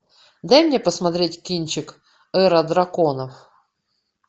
дай мне посмотреть кинчик эра драконов